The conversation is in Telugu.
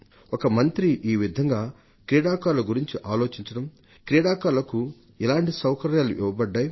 ఒక మంత్రి ఈ విధంగా క్రీడాకారుల గురించి ఆలోచించడం క్రీడాకారులకు ఎలాంటి సౌకర్యాలు ఇవ్వబడ్డాయి